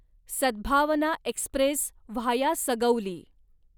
Sadbhavna express via Sugauli